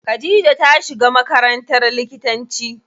Khadija ta shiga makarantar likitanci.